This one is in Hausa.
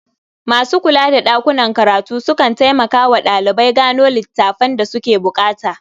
Masu kula da ɗakunan karatu sukan taimmaka wa ɗalibai gano littafan da suke buƙata.